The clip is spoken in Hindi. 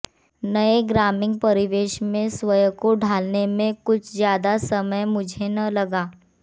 नए ग्रामीण परिवेश में स्वयं को ढालने में कुछ ज्यादा समय मुझे न लगा